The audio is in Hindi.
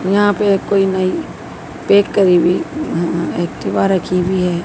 यहां पे कोई नई पैक करी हुई अ एक्टिवा रखी हुई है।